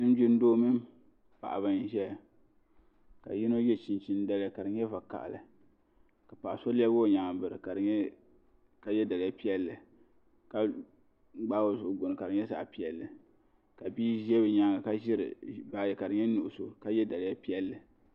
Linjima doo mini paɣa n zaya ka yino ye chinchini daliya ka di nyɛ vakahali paɣa so lɛbigi o yɛanga biri ka ye daliya piɛlli ka gbaai o zuɣu gbuni ka di nyɛ zaɣi piɛlli ka bia za bi yɛanga ka ziri baaji ka di nyɛ nuɣiso ka ye daliya piɛlli.